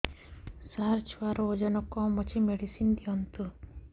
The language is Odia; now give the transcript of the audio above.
ସାର ଛୁଆର ଓଜନ କମ ଅଛି ମେଡିସିନ ଦିଅନ୍ତୁ